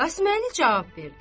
Qasıməli cavab verdi: